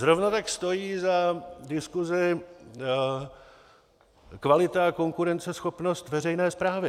Zrovna tak stojí za diskusi kvalita a konkurenceschopnost veřejné správy.